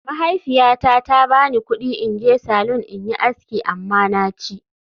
Mahaifiyata ta ba ni kudi in je salon in yi aski amma na ci